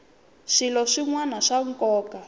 swilo swin wana swa nkoka